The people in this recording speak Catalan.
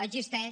existeix